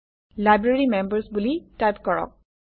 library members বুলি type কৰক